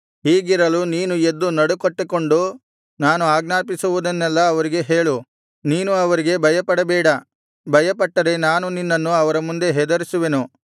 ಹೀಗಿರಲು ನೀನು ಎದ್ದು ನಡುಕಟ್ಟಿಕೊಂಡು ನಾನು ಆಜ್ಞಾಪಿಸುವುದನ್ನೆಲ್ಲಾ ಅವರಿಗೆ ಹೇಳು ನೀನು ಅವರಿಗೆ ಭಯಪಡಬೇಡ ಭಯಪಟ್ಟರೆ ನಾನು ನಿನ್ನನ್ನು ಅವರ ಮುಂದೆ ಹೆದರಿಸುವೆನು